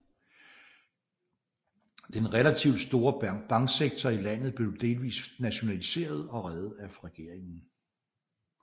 Den relativt store banksektor i landet blev delvist nationaliseret og reddet af regeringen